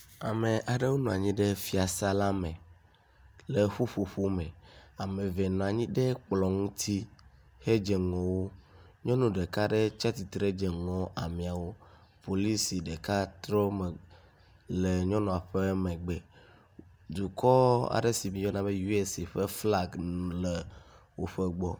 Ame aɖewo nɔ anyi ɖe fiasa la me le ƒuƒo me. Ame eve nɔ nyi ɖe eklɔ ŋuti hedze ŋgɔ wo. Nyɔnu ɖeka aɖe hã nɔ anyi dze ŋgɔ ameawo. Polisi ɖeka trɔ megbe le nyɔnua ƒe megbe. Dukɔ aɖe si mieyɔna be USA le woƒe gbɔ.